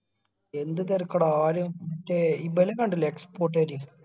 എന്ത് തെരക്കട ആര് മറ്റേ ഇബല് കണ്ടില്ലേ export കാര്